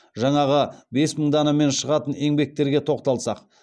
жаңағы бес мың данамен шығатын еңбектерге тоқталсақ